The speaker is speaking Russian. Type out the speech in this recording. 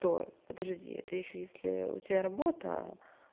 подожди это ещё если у тебя работа